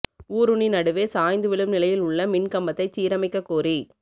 ஊருணி நடுவே சாய்ந்து விழும் நிலையில் உள்ள மின் கம்பத்தைச் சீரமைக்கக் கோரிக்கை